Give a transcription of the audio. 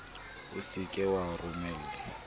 o se ke wa romella